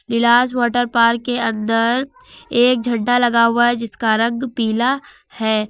इलाज water park के अंदर एक झंडा लगा हुआ है जिसका रंग पीला है।